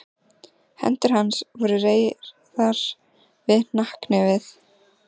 Hendur hans voru reyrðar við hnakknefið.